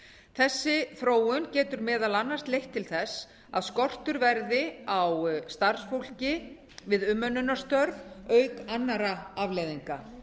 þessi þróun getur meðal annars leitt til þess að skortur verði á starfsfólki við umönnunarstörf auk annarra afleiðinga